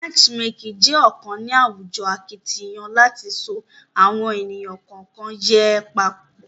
matchmaking je kàn ní àwùjọ akitiyan láti so awọn ẹni kọọkan yẹ pọ